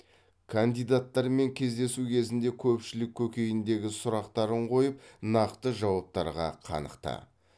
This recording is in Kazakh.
кандидаттармен кездесу кезінде көпшілік көкейіндегі сұрақтарын қойып нақты жауаптарға қанықты